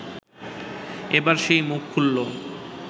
এবার সেই মুখ খুললো